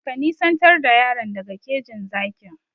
Ka nisantar da yaron daga kejin zakin!